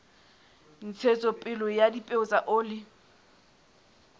ntshetsopele ya dipeo tsa oli